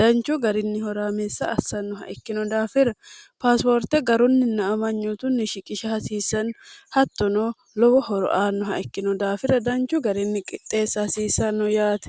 danchu garinni horaameessa assannoha ikkino daafira paasuwoorte garunninna amanyootunni shiqisha hasiisanni hattono lowo horo aannoha ikkino daafira danchu garinni qixxeessa hasiisanno yaate